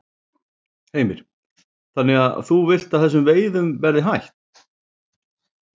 Heimir: Þannig að þú vilt að þessum veiðum verði hætt?